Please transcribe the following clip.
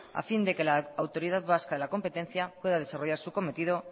a fin de que la autoridad vasca de la competencia pueda desarrollar su cometido